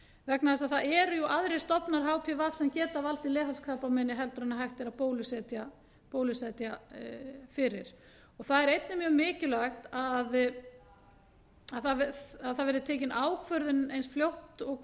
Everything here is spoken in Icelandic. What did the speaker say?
vegna þess að það eru jú aðrir stofnar hpv sem geta valdið valdið leghálskrabbameini en hægt er að bólusetja fyrir það er einnig mjög mikilvægt að það verði tekin ákvörðun eins fljótt og